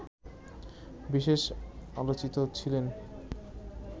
বিশেষ আলোচিত ছিলেন